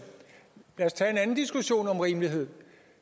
lad os tage en anden diskussion om rimelighed